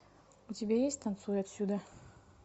у тебя есть танцуй отсюда